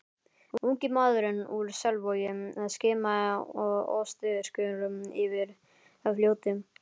Ungi maðurinn úr Selvogi skimaði óstyrkur yfir fljótið.